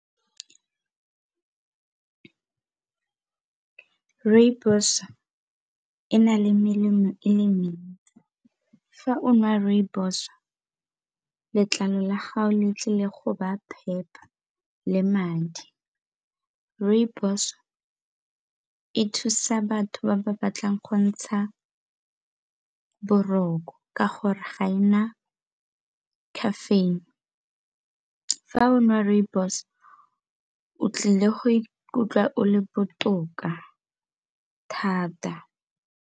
Rooibos e na le melemo e le mentsi. Fa o nwa rooibos, letlalo la gago le tlile go ba phepa le madi rooibos e thusa batho ba ba batlang go ntsha boroko ka gore ga e na caffeine. Fa o nwa rooibos o tlile go ikutlwa o le botoka thata.